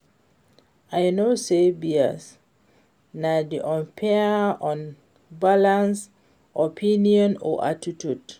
i know say bias na di unfair or unbalanced opinion or attitude.